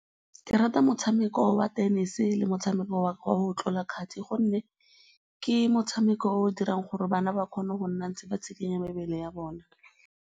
Ke rata motshameko wa tenese le motshameko wa go tlola kgati gonne ke metshameko e e dirang gore bana ba kgone go nna ba ntse ba tsikinya mebele ya bona.